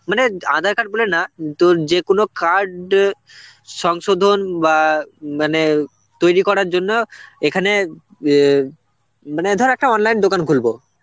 মানে aadhar card বলে না উম তো যেকোন card সংশোধন বা মানে তৈরি করার জন্য এখানে অ্যাঁ মনে ধর একটা online দোকান খুলবো.